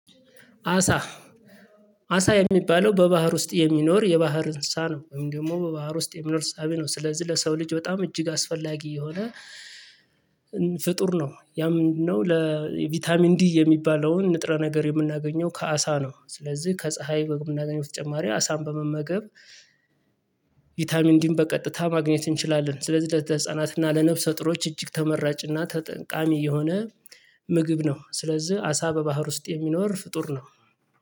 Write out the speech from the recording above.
አሳ። አሳ የሚባለው በባህር ውስጥ የሚኖር የባህር እንሳ ነው ወይም ደግሞ በባህር ውስጥ የሚኖር እሳቢ ነው ስለዚህ ለሰው ልጅ በጣም እጅግ አስፈላጊ የሆነ ፍጡር ነው። ያም ምንድነው? ለቪታሚን ዲ ንጥረ ነገር የምናገኘው ከአሳ ነው። ስለዚህ ከፀሀይ በምናገኘው በተጨማሪ አሳን በመመገብ ቪታታሚን ዲን በቀጥታ ማግኘት እንችላለን። ስለዚህ ለተ ህፃናት እና ለነፍሰ ጡሮች እጅግ ተመራጭና ተጠቃሚ የሆነ ምግብ ነው። ስለዚህ አሳ በባህር ውስጥ የሚኖር ፍጡር ነው።